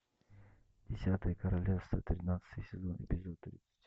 десятое королевство тринадцатый сезон эпизод тридцать